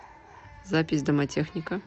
запись домотехника